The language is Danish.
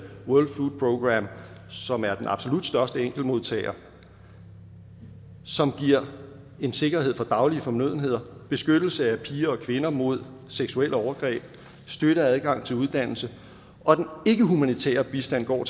world food programme som er den absolut største enkeltmodtager som giver en sikkerhed for daglige fornødenheder beskyttelse af piger og kvinder mod seksuelle overgreb støtter adgang til uddannelse og den ikkehumanitære bistand går